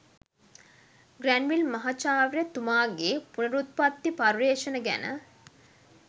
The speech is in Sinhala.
ග්‍රැන්විල් මහචාර්ය තුමාගෙ පුනරුප්පත්ති පර්යේෂණ ගැන